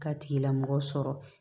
K'a tigilamɔgɔ sɔrɔ